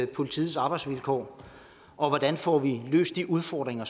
politiets arbejdsvilkår hvordan får vi løst de udfordringer